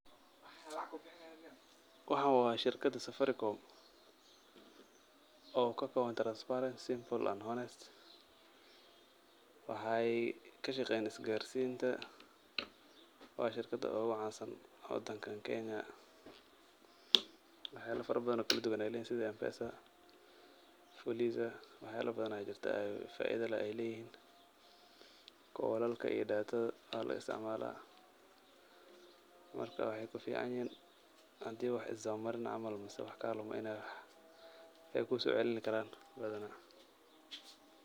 Waxaan waa shirkada Safaricom oo kakooban transparency, simple and honest. Waxaay kashaqeeyaan isgaarsiinta. Waa shirkada ugucaansan wadankan Kenya. Waxyaalo farabadan oo kalduwan ayaay leeyihiin sida mpesa, fuliza. Wax yaalo badan ayaa jirta faaido leh ay leeyihiin. Koolalka iyo datada ayaa loo istacmaalaa. Marka waxaay kuficaanyihiin hadii wax isdabamarin camal mise wax kaalumo inaay wax kuusoocilini karaan badana.